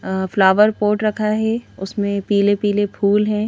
अ flower pot रखा है उसमें पीले पीले फूल हैं।